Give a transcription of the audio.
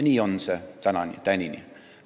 Nii on see tänini.